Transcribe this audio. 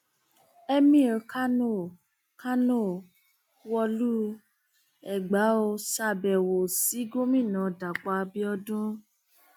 emir kánó kánó wọlú u ẹgbà ó ṣàbẹwò sí gómìnà dapò abiodun